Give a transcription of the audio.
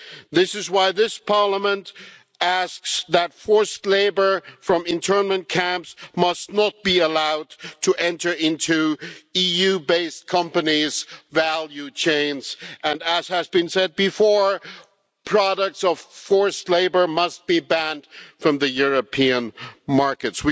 This is why this Parliament asks that forced labour from internment camps must not be allowed to enter into EU based companies' value chains, and as has been said before, the products of forced labour must be banned from the European markets.